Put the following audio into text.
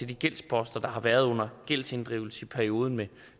de gældsposter der har været med gældsinddrivelsen i perioden med